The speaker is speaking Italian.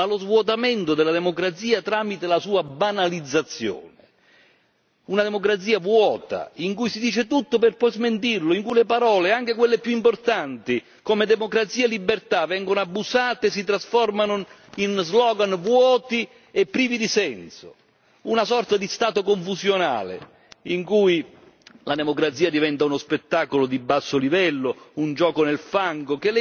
Una democrazia vuota in cui si dice tutto per poi smentirlo, in cui le parole, anche quelle più importanti, come democrazia e libertà, vengono abusate e si trasformano in slogan vuoti e privi di senso, una sorta di stato confusionale in cui la democrazia diventa uno spettacolo di basso livello, un gioco nel fango che legittima il ritorno delle forze più estreme e questo dovrebbe preoccupare tutti noi!